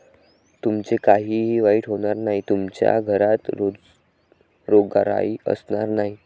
तुमचे काहीही वाईट होणार नाही. तुमच्या घरात रोगराई असणार नाही.